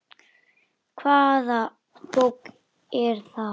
Hvaða bók er það?